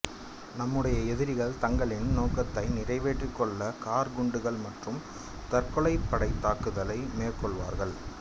நம்முடைய எதிரிகள் தங்களின் நோக்கத்தை நிறைவேற்றிக் கொள்ள கார் குண்டுகள் மற்றும் தற்கொலைப்படைத் தாக்குதலை மேற்கொள்வார்கள்